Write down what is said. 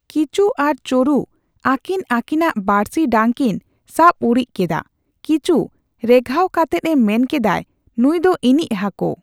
ᱠᱤᱪᱩ ᱟᱨ ᱪᱳᱨᱩ ᱟᱠᱤᱱ ᱟᱠᱤᱱ ᱟᱜ ᱵᱟᱬᱥᱤ ᱰᱟᱝ ᱠᱤᱱ ᱥᱟᱵ ᱩᱨᱤᱡ ᱠᱮᱫᱟ ᱾ᱠᱤᱪᱩ ᱨᱮᱜᱷᱟᱣ ᱠᱟᱛᱮᱫ ᱮ ᱢᱮᱱ ᱠᱮᱫᱟᱭ ᱱᱩᱭ ᱫᱚ ᱤᱧᱤᱡ ᱦᱟᱠᱩ!